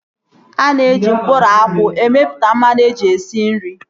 Ana eji mkpụrụ akwụ emeputa mmanụ eji esi nri